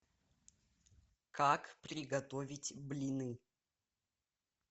как приготовить блины